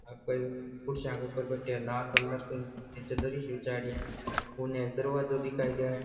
हर कोई कुर्सियां के ऊपर बैठो है लाल कलर की नीचे दरी सी बिछाई है और एक दरवाज़ा दिखाई देव।